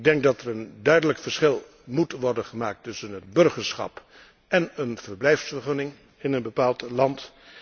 Ik denk dat er een duidelijk verschil moet worden gemaakt tussen het burgerschap en een verblijfsvergunning in een bepaald land.